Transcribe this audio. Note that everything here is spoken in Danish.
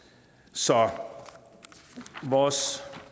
så vores